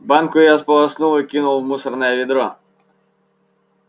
банку я сполоснул и кинул в мусорное ведро